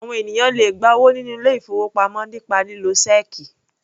Àwọn ènìyàn le gba owó nínú ilé-ìfowópamọ́ nípa lílo ṣẹ́ẹ́kì.